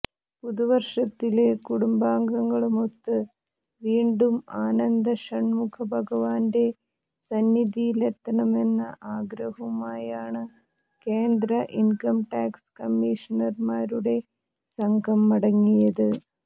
പുതുവര്ഷത്തില് കുടുംബാംഗങ്ങളുമൊത്ത് വീണ്ടും ആനന്ദഷണ്മുഖ ഭഗവാന്റെ സന്നിധിയിലെത്തണമെന്ന ആഗ്രഹവുമായാണ് കേന്ദ്ര ഇന്കംടാക്സ് കമ്മീഷണര്മാരുടെ സംഘം മടങ്ങിയത്